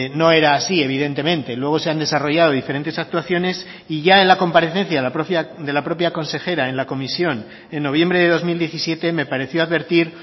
no era así evidentemente luego se han desarrollado diferentes actuaciones y ya en la comparecencia de la propia consejera en la comisión en noviembre de dos mil diecisiete me pareció advertir